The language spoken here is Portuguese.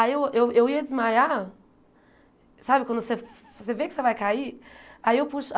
Aí eu eu eu ia desmaiar, sabe quando você você vê que você vai cair? Aí eu puxo